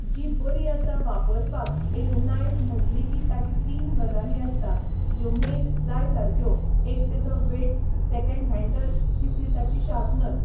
जी बरी आसा वापरपाक एक नायफ म्हटली की ताची तीन गजाली आसता ज्यो मेन जाय सारक्यो एक तेजो वेट सॅकेंड हैन्डल तिसरी ताची शार्पनस